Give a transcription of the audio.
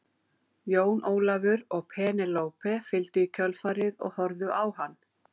Jón Ólafur og Penélope fylgdu í kjölfarið og horfðu á hann.